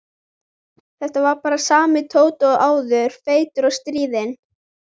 Þetta var bara sami Tóti og áður, feitur og stríðinn.